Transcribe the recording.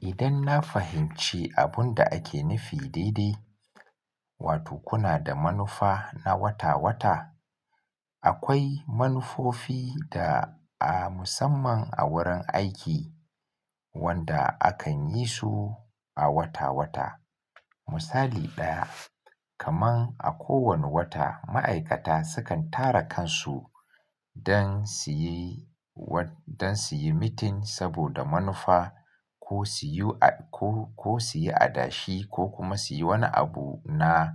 Idan na fahimci abun da ake nufi daidai, wato kuna da manufa na wata-wata. Akwai manufofi da a musamman a wurin aiki wanda akan yi su a wata-wata. Misali ɗaya, kaman a kowane wata ma'aikata sukan tara kansu don suyi, don suyi mitin saboda manufa ko suyi, ko, ko suyi adashi ko kuma suyi wani abu na